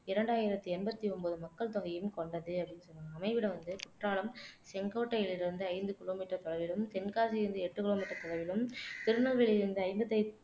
இரண்டாயிரத்து எண்பத்தி ஒன்பது மக்கள்தொகையும் கொண்டது அப்படின்னு சொல்றாங்க அமைவிடம் வந்து குற்றாலம் செங்கோட்டையில் இருந்து ஐந்து கிலோமீட்டர் தொலைவிலும் தென்காசியில் இருந்து எட்டு கிலோமீட்டர் தொலைவிலும் திருநெல்வேலியில் இருந்து ஐம்பத்து